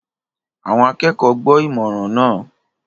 Àwọn akẹ́kọ̀ọ́ gbọ́ ìmọ̀ràn náà